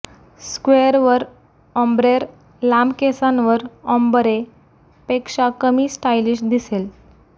स्क्वेअरवर ओम्ब्रेर लांब केसांवर ओम्बरे पेक्षा कमी स्टाईलिश दिसेल